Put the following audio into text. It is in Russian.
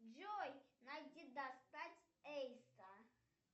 джой найди достать эйса